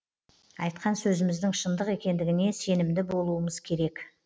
айтқан сөзіміздің шындық екендігіне сенімді болуымыз керек